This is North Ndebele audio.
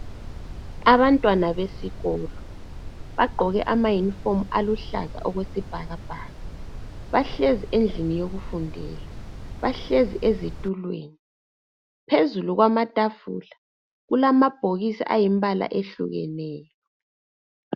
Abantwana besikolo bagqoke amayunifomu aluhlaza okwesibhakabhaka bahlezi endlini yokufundela, bahlezi ezitulweni. Phezulu kwamatafula kulamabhokisi ayimibala ehlukeneyo.